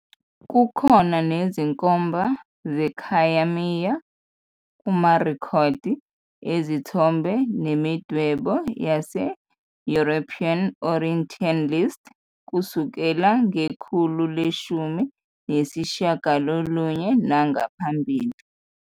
Kukhona nezinkomba zekhayamiya kumarekhodi ezithombe nemidwebo yase-European orientalist kusukela ngekhulu leshumi nesishiyagalolunye nangaphambili.